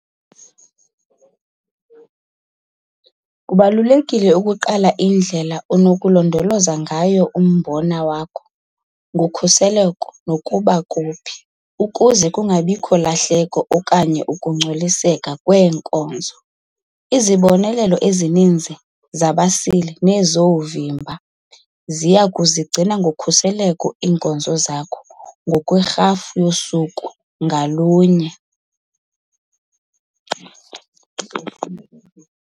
Kubalulekile ukugqala indlela onokulondoloza ngayo umbona wakho ngokhuselo nokuthi phi ukuze kungabikho lahleko okanye ukungcoliseka kweenkozo. Izibonelelo ezininzi zabasili nezoovimba ziya kuzigcina ngokhuselo iinkozo zakho ngokwerhafu yosuku ngalunye.